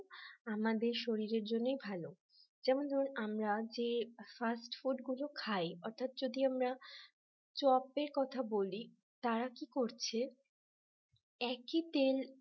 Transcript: আমাদের শরীরের জন্যই ভালো যেমন ধরুন আমরা যে fast food গুলো খাই অর্থাৎ যদি আমরা চপের কথা বলি, তারা কি করছে একই তেল